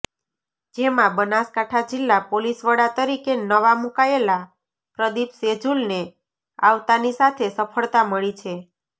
જેમાં બનાસકાંઠા જિલ્લા પોલીસવડા તરીકે નવા મુકાયેલા પ્રદીપ સેજુલને આવતાની સાથે સફળતા મળી છે